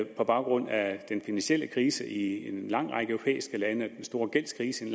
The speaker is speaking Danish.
på baggrund af den finansielle krise i en lang række europæiske lande og den store gældskrise i